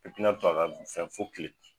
I tina to ka fɛn fo kile